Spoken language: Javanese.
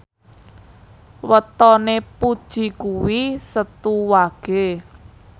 wetone Puji kuwi Setu Wage